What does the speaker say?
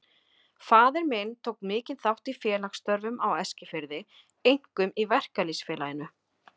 Faðir minn tók mikinn þátt í félagsstörfum á Eskifirði, einkum í Verkalýðs- félaginu.